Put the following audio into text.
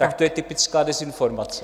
Tak to je typická dezinformace.